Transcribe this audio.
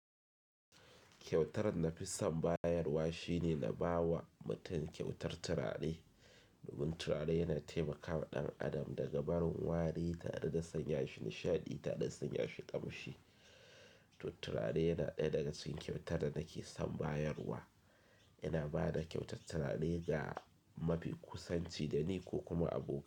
Kyautar na fi son bayarwa shine na ba wa mutum kyautar turare. Domin turare yana taimakawa ɗan adam daga barin wari tare da sanya shi nishaɗi tare da sanya shi ƙamshi. To turare yana ɗaya daga cikin kyautar da nake son bayarwa. Ina ba da kyautar turare ga mafi kusanci da ni ko kuma abokai.